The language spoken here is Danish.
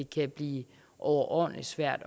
kan blive overordentlig svært